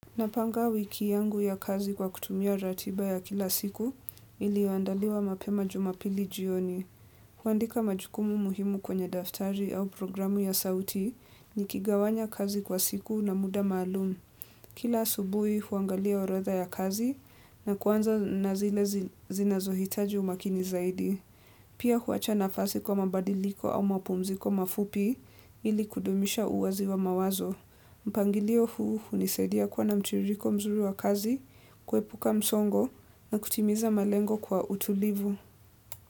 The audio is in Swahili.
Napanga wiki yangu ya kazi kwa kutumia ratiba ya kila siku ili andaliwa mapema jumapili jioni. Huandika majukumu muhimu kwenye daftari au programu ya sauti ni kigawanya kazi kwa siku na muda maalum. Kila subuhi huangalia orodha ya kazi na kuanza nazile zinazohitaji umakini zaidi. Pia huacha nafasi kwa mabadiliko au mapumziko mafupi ili kudumisha uwazi wa mawazo. Mpangilio huu unisaidia kuwa na mtiririko mzuri wa kazi, kuepuka msongo na kutimiza malengo kwa utulivu.